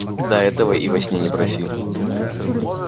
да этого и во сне не проси